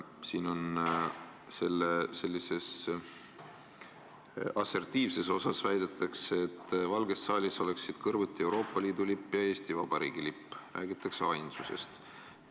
Siin sellises assertiivses osas väidetakse, et Valges saalis võiksid olla kõrvuti Euroopa Liidu lipp ja Eesti Vabariigi lipp – räägitakse ainsuses.